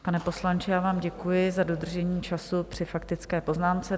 Pane poslanče, já vám děkuji za dodržení času při faktické poznámce.